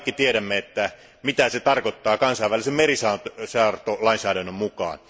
Me kaikki tiedämme, mitä se tarkoittaa kansainvälisen merisaartolainsäädännön mukaan.